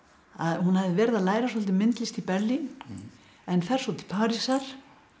hún hafði verið að læra svolítið myndlist í Berlín en fer svo til Parísar